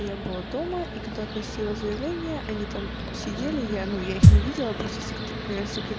я была дома и когда относила заявление они там сидели я ну я их не видела просто сект ээ секрет